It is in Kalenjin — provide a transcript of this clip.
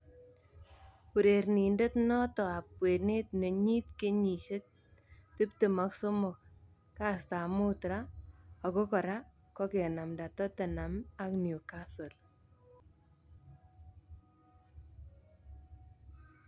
Urerrnindet noto ab kwenet nenyit kenyisiek 23, kastab mut raa, ako kora kokenamda Tottenham ak Newcastle.